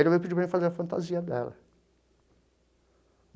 Ele me pediu para mim fazer a fantasia dela.